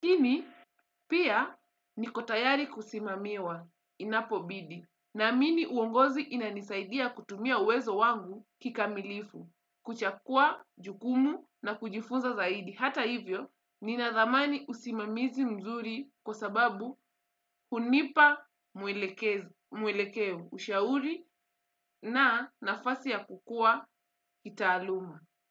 Lakini, pia niko tayari kusimamiwa inapobidi, naamini uongozi inanisaidia kutumia uwezo wangu kikamilifu, kuchukua jukumu, na kujifunza zaidi. Hata hivyo, ninadhamani usimamizi mzuri kwa sababu hunipa mwelekeo, ushauri na nafasi ya kukua kitaaluma.